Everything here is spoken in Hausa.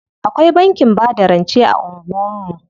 Akwai bankin bada rance a anguwan mu.